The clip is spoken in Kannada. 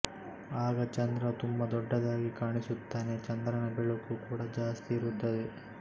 ಆಗ ಚಂದ್ರ ತುಂಬಾ ದೊಡ್ಡದಾಗಿ ಕಾಣಿಸುತ್ತಾನೆ ಚಂದ್ರನ ಬೆಳಕು ಕೂಡ ಜಾಸ್ತಿ ಇರುತ್ತದೆ